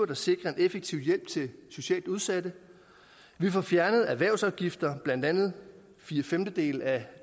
der sikrer en effektiv hjælp til socialt udsatte vi får fjernet erhvervsafgifter blandt andet fire femtedele af